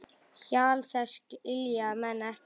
Hjal þess skilja menn ekki.